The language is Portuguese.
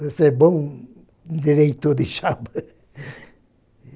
Você é bom diretor de chapa.